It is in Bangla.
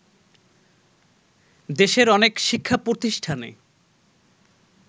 দেশের অনেক শিক্ষাপ্রতিষ্ঠানে